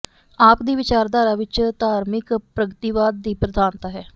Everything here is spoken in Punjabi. ਆਪ ਦੀ ਵਿਚਾਰਧਾਰਾ ਵਿੱਚ ਧਾਰਮਿਕ ਪ੍ਰਗਤੀਵਾਦ ਦੀ ਪ੍ਰਧਾਨਤਾ ਹੈ